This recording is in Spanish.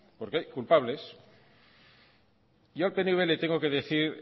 porque hay culpables yo al pnv le tengo que decir